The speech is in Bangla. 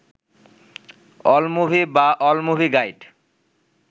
অলমুভি বা অল মুভি গাইড